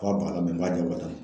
n b'a jagoya ka ta